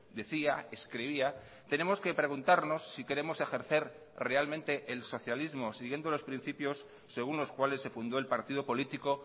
decía escribía tenemos que preguntarnos si queremos ejercer realmente el socialismo siguiendolos principios según los cuales se fundó el partido político